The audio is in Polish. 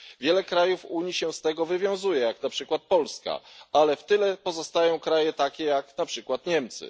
Wiele krajów Unii się z tego wywiązuje, jak na przykład Polska, ale w tyle pozostają kraje takie jak na przykład Niemcy.